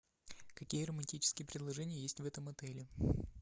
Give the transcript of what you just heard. какие романтические предложения есть в этом отеле